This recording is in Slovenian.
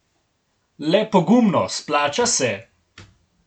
Le pogumno, splača se!